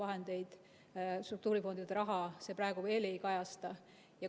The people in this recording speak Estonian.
Nii et struktuurifondide raha see praegu veel ei kajasta.